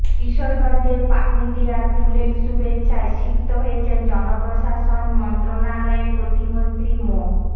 কিশোরগঞ্জের পাকুন্দিয়ায় ফুলেল শুভেচ্ছায় সিক্ত হয়েছেন জনপ্রশাসন মন্ত্রণালয়ের প্রতিমন্ত্রী মো